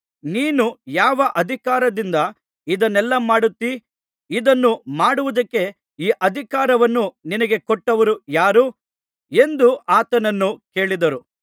ನೀನು ಯಾವ ಅಧಿಕಾರದಿಂದ ಇದನ್ನೆಲ್ಲಾ ಮಾಡುತ್ತೀ ಇದನ್ನು ಮಾಡುವುದಕ್ಕೆ ಈ ಅಧಿಕಾರವನ್ನು ನಿನಗೆ ಕೊಟ್ಟವರು ಯಾರು ಎಂದು ಆತನನ್ನು ಕೇಳಿದರು